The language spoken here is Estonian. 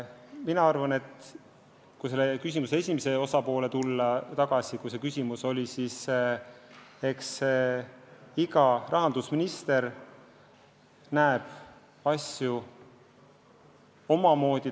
Mis puutub küsimuse esimesse poolde, siis eks iga rahandusminister näeb asju omamoodi.